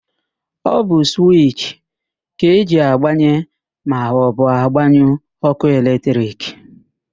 Ọ bụ suwichi ka eji agbanye maọbụ gbanyụọ ókụ́ eletrik.